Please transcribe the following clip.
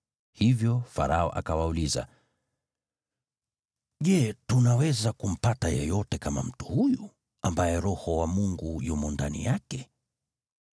Hivyo Farao akawauliza, “Je tunaweza kumpata yeyote kama mtu huyu, ambaye Roho wa Mungu yumo ndani yake?”